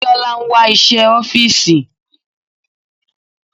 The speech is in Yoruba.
Biola ń wá iṣẹ́ ọ́fìsì.